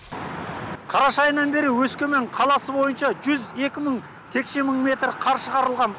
қараша айынан бері өскемен қаласы бойынша жүз екі мың текше мың метр қар шығарылған